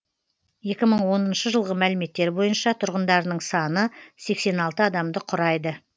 екі мың оныншы жылғы мәліметтер бойынша тұрғындарының саны сексен алты адамды құрайды